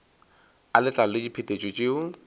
a letlalo le diphetetšo tšeo